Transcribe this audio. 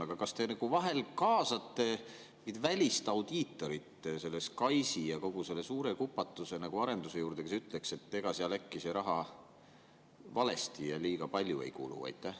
Aga kas te vahel kaasate mingit välist audiitorit selle SKAIS‑i ja kogu selle suure kupatuse arenduse juurde, kes ütleks, et ega seal äkki raha valesti ja liiga palju ei kulu?